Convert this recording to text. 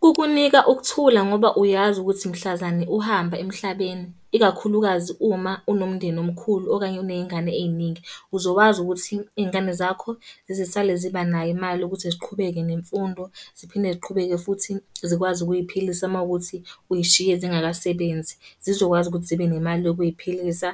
Kukunika ukuthula ngoba uyazi ukuthi mhlazane uhamba emhlabeni, ikakhulukazi uma unomndeni omkhulu okanye uneyngane ey'ningi. Uzokwazi ukuthi iy'ngane zakho zisale ziba nayo imali yokuthi ziqhubeke nemfundo. Ziphinde ziqhubeke futhi zikwazi ukuy'philisa uma kuwukuthi uzishiye zingakasebenzi, zizokwazi ukuthi zibe nemali yokuziphilisa.